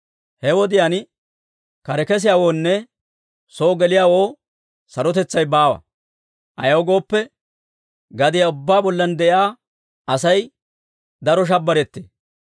He wodiyaan kare kesiyaawoonne soo geliyaawoo sarotetsay baawa; ayaw gooppe, gadiyaa ubbaa bollan de'iyaa Asay daro shabbarettee.